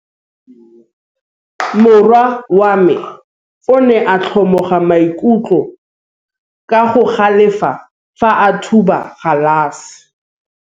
Morwa wa me o ne a kgomoga maikutlo ka go galefa fa a thuba galase.